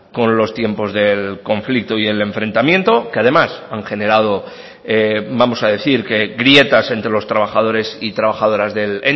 con los tiempos del conflicto y el enfrentamiento que además han generado vamos a decir que grietas entre los trabajadores y trabajadoras del